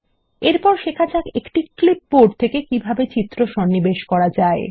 এরপর শেখা যাক একটি ক্লিপবোর্ড থেকে কিভাবে চিত্র সন্নিবেশ করা যায়